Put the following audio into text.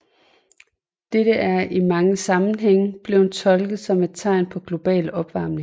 Dette er i mange sammenhænge blevet tolket som et tegn på global opvarmning